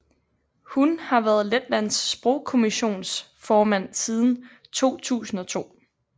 Hun har været Letlands Sprogkommissions formand siden 2002